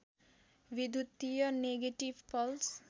विद्युतीय negative pulse